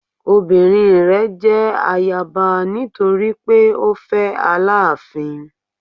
Ọmọbinrin rẹ jẹ ayaba nitori pe o fẹ Alaafin